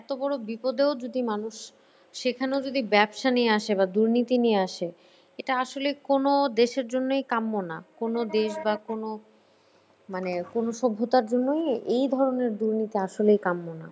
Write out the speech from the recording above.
এত বড়ো বিপদেও যদি মানুষ সেখানেও যদি ব্যবসা নিয়ে আসে বা দুর্নীতি নিয়ে আসে এটা আসলে কোনো দেশের জন্যই কাম্য না। কোনো দেশ বা কোনো মানে কোনো সভ্যতার জন্যই এই ধরণের দুর্নীতি আসলে কাম্য না।